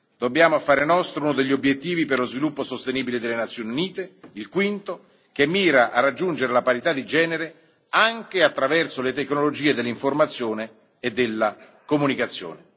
Dobbiamo fare nostro uno degli Obiettivi per lo sviluppo sostenibile delle Nazioni Unite, il quinto, che mira a raggiungere la parità di genere anche attraverso le tecnologie dell'informazione e della comunicazione.